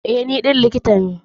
Eh, ni ɗin likita ne.